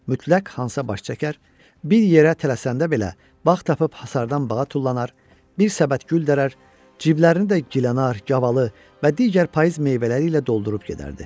Mütləq Hansa baş çəkər, bir yerə tələsəndə belə vaxt tapıb hasardan bağa tullanar, bir səbət gül dərər, ciblərinə də gilənar, yavalı və digər payız meyvələri ilə doldurub gedərdi.